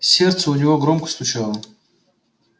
сердце у него громко стучало